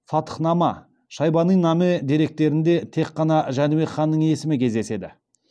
фатхнама шайбанинаме деректерінде тек қана жәнібек ханның есімі кездеседі